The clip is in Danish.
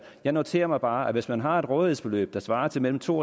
jeg noterer mig bare at hvis man har et rådighedsbeløb der svarer til mellem to